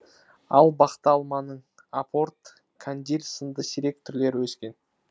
ал бақта алманың апорт кандиль сынды сирек түрлері өскен